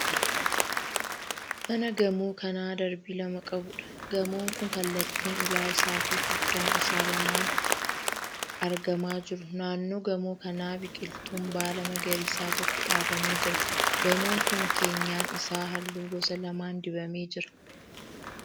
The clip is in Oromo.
Mana gamoo kan darbii lama qabuudha. Gamoon kun kallattiin ulaa isaa fi foddaan isaa lamaan argamaa jiru. naannoo gamoo kanaa biqiltuun baala magariisa tokko dhaabamee jira. Gamoon kun keenyan isaa halluu gosa lamaan dibamee jira.